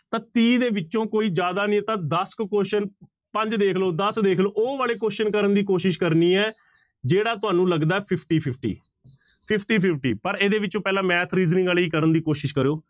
ਤਾਂ ਤੀਹ ਦੇ ਵਿੱਚੋਂ ਕੋਈ ਜ਼ਿਆਦਾ ਨੀ ਤਾਂ ਦਸ ਕੁ question ਪੰਜ ਦੇਖ ਲਓ ਦਸ ਦੇਖ ਲਓ ਉਹ ਵਾਲੇ question ਕਰਨ ਦੀ ਕੋਸ਼ਿਸ਼ ਕਰਨੀ ਹੈ ਜਿਹੜਾ ਤੁਹਾਨੂੰ ਲੱਗਦਾ ਹੈ fifty, fifty, fifty, fifty ਪਰ ਇਹਦੇ ਵਿੱਚੋਂ ਪਹਿਲਾਂ math, reasoning ਵਾਲੇ ਹੀ ਕਰਨ ਦੀ ਕੋਸ਼ਿਸ਼ ਕਰਿਓ